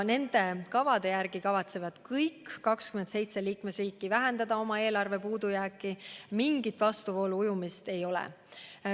Nende kavade järgi kavatsevad kõik 27 liikmesriiki vähendada oma eelarve puudujääki, mingit vastuvoolu ujumist ei ole.